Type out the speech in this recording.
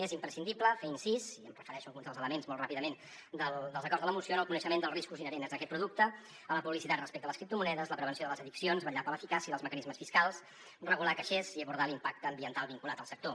és imprescindible fer incís i em refereixo a alguns dels elements molt ràpidament dels acords de la moció en el coneixement dels riscos inherents a aquest producte a la publicitat respecte a les criptomonedes la prevenció de les addiccions vetllar per l’eficàcia dels mecanismes fiscals regular caixers i abordar l’impacte ambiental vinculat al sector